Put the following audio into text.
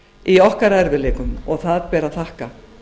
í okkar erfiðleikum og það ber að þakka